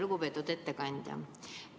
Lugupeetud ettekandja!